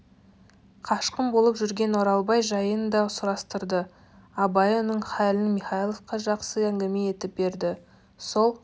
қашқын болып жүрген оралбай жайын да сұрастырды абай оның халін михайловқа жақсы әңгіме етіп берді сол